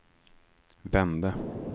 vände